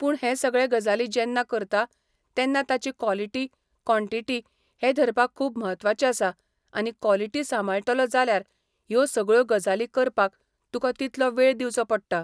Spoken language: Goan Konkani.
पूण हे सगळे गजाली जेन्ना करता, तेन्ना ताची कॉलिटी कॉनटिटी हे धरपाक खूब म्हत्वाचें आसा आनी कॉलिटी सांबाळटलो जाल्यार ह्यो सगळ्यो गजाली करपाक तुका तितको वेळ दिवचो पडटा.